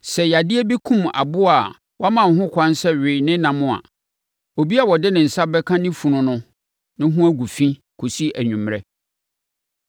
“ ‘Sɛ yadeɛ bi kum aboa a wɔama wo ho kwan sɛ we ne nam a, obi a ɔde ne nsa bɛka ne funu no no ho gu fi kɔsi anwummerɛ.